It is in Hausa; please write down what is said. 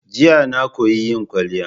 Jiya na koyi yin kwaliya.